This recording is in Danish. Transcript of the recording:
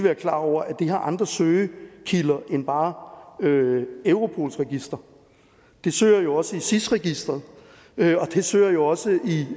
være klar over at de har andre søgekilder end bare europols register de søger jo også i sis registeret og det søger jo også i